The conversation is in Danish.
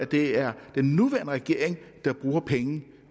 det er den nuværende regering der bruger penge